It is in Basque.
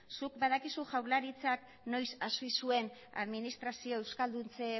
zuk badakizu jaurlaritzak noiz hasi zuen administrazio euskalduntze